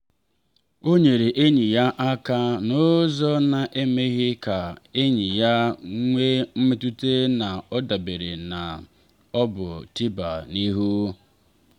ọ nyere enyi ya aka n’ụzọ na emeghị ka enyi ya nwee mmetụta na ọ dabere ma ọ bụ tịba n’ihu.